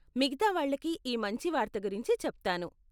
మిగతా వాళ్లకి ఈ మంచి వార్త గురించి చెప్తాను.